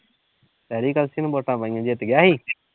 ਸੈਰੀ ਕਲਸੀ ਨੂੰ ਵੋਟਾਂ ਪਾਈਆਂ, ਜਿੱਤ ਗਿਆ ਸੀ।